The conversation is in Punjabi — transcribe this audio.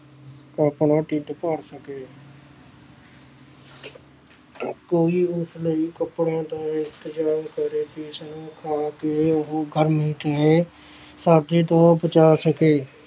ਆਪਣਾ ਢਿੱਡ ਭਰ ਸਕੇ ਕੋਈ ਉਸ ਲਈ ਕੱਪੜਿਆਂ ਦਾ ਇੰਤਜਾਮ ਕਰੇ ਜਿਸਨੂੰ ਸਰਦੀ ਤੋਂ ਬਚਾ ਸਕੇ।